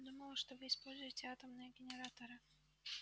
я думала что вы используете атомные генераторы